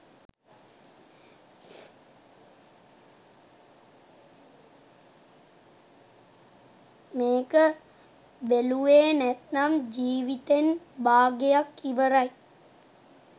මේක බෙලුවේ නැත්නම් ජීවිතෙන් බාගයක් ඉවරයි.